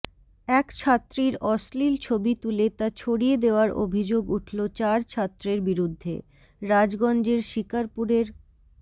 এক ছাত্রীর অশ্লীল ছবি তুলে তা ছড়িয়ে দেওয়ার অভিযোগ উঠল চার ছাত্রের বিরুদ্ধে রাজগঞ্জের শিকারপুরের